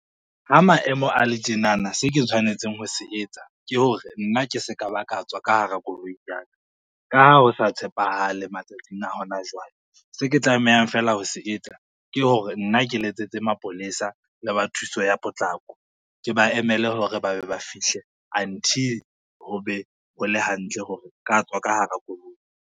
Ha maemo a le tjenana, se ke tshwanetseng ho se etsa ke hore, nna ke se ka ba ka tswa ka hara koloi ya ka, ka ha ho sa tshepahale matsatsing a hona jwale, se ke tlamehang fela ho se etsa ke hore nna ke letsetse mapolesa le ba thuso ya potlako, ke ba emele hore ba be ba fihle until ho be ho le hantle hore nka tswa ka hara koloi.